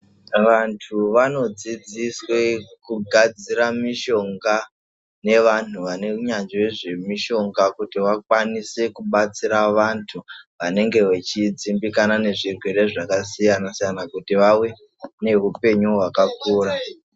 Vantu vanodzidziswe kugadzira mushonga nevanhu vane unyanzvi nezvemishonga, kuti vakwanise kubatsira vantu vanenge vachidzimbikana nezvirwere zvakasiyana-siyana, kuti vave neupenyu hwakakura .